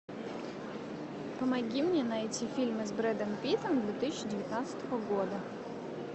помоги мне найти фильмы с брэдом питтом две тысячи девятнадцатого года